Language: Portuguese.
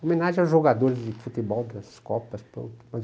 Homenagem aos jogadores de futebol das Copas, pronto.